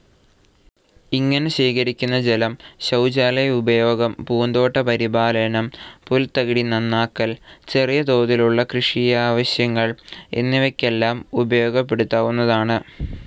ഇങ്ങനെ ശേഖരിക്കുന്ന ജലം ശൌചാലയ ഉപയോഗം, പൂന്തോട്ട പരിപാലനം, പുൽത്തകിടി നന്നാക്കൽ. ചെറിയ തോതിലുള്ള കൃഷിയാവശ്യങ്ങൾ എന്നിവക്കെല്ലാം ഉപയോഗപ്പെടുത്താവുന്നതാണ്.